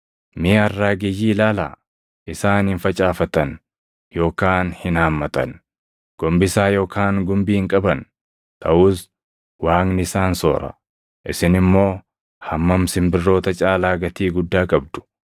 Mee arraageyyii ilaalaa: Isaan hin facaafatan yookaan hin haammatan; gombisaa yookaan gumbii hin qaban; taʼus Waaqni isaan soora. Isin immoo hammam simbirroota caalaa gatii guddaa qabdu!